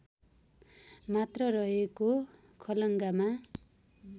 मात्र रहेको खलङ्गामा